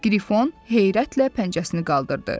Qrfon heyrətlə pəncəsini qaldırdı.